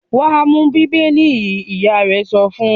"Wà á mú Bíbélì yìí!" Ìyá rẹ̀ sọ fún un.